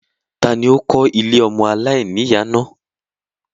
Tani ó kó ilé ọmọ aláìníyà náà?